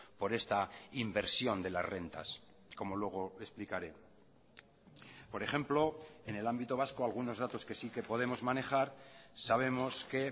por esta inversión de las rentas como luego explicaré por ejemplo en el ámbito vasco algunos datos que sí que podemos manejar sabemos que